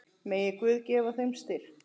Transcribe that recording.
Megi Guð gefa þeim styrk.